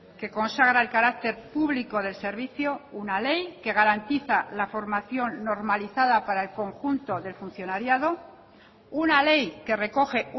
que consagra el carácter público del servicio una ley que garantiza la formación normalizada para el conjunto del funcionariado una ley que recoge